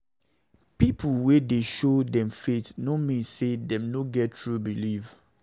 Pipo wey dey show dem faith no mean say dem no get true belief.